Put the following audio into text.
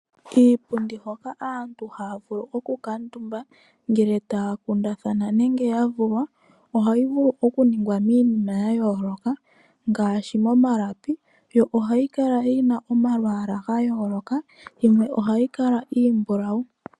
Iipundi hoka aantu haya vulu oku kaatumba ngele taya kundatahana nenge ya vulwa, ohayi vulu oku ningwa miinima ya yooloka ngaashi mo malapi. Yo ohayi kala yina omalwaala ga yooloka, yimwe ohayi kala iimbulawu.